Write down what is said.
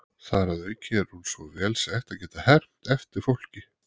Þar að auki er hún svo vel sett að geta hermt eftir fólki.